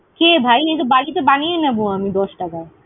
কে ভাই? এইতো বাড়িতে বানিয়ে নেব আমি দশ টাকায়।